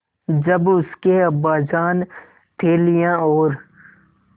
जब उसके अब्बाजान थैलियाँ और